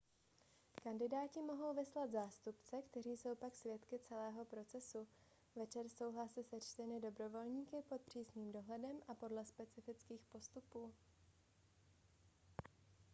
kandidáti mohou vyslat zástupce kteří jsou pak svědky celého procesu večer jsou hlasy sečteny dobrovolníky pod přísným dohledem a podle specifických postupů